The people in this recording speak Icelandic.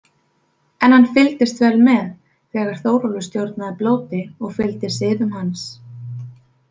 En hann fylgdist vel með þegar Þórólfur stjórnaði blóti og fylgdi siðum hans.